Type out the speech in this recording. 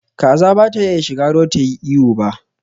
Kaza ba ta iya shiga ruwa tayi iyo ba